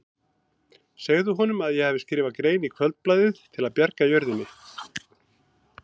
Segðu honum að ég hafi skrifað grein í Kvöldblaðið til að bjarga jörðinni.